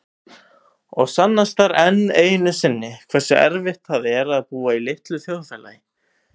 Og sannast þar enn einu sinni hversu erfitt það er að búa í litlu þjóðfélagi.